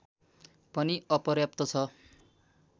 पनि अपर्याप्त छ